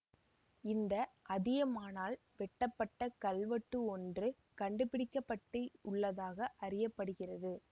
இந்த அதியமானால் வெட்டப்பட்ட கல்வெட்டு ஒன்று கண்டு பிடிக்க பட்டு உள்ளதாக அறிய படுகிறது